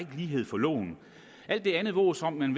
lighed for loven alt det andet vås om at man